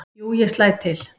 """Jú, ég slæ til"""